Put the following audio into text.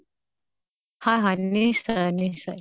হয় হয় নিশ্চয় নিশ্চয়